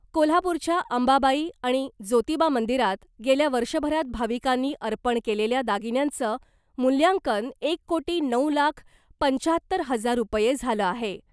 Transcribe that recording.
कोल्हापूरच्या अंबाबाई आणि जोतिबा मंदिरात गेल्या वर्षभरात भाविकांनी अर्पण केलेल्या दागिन्यांचं मूल्यांकन एक कोटी नऊ लाख पंच्याहत्तर हजार रूपये झालं आहे .